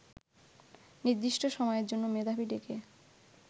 নির্দিষ্ট সময়ের জন্য মেধাবী ডেকে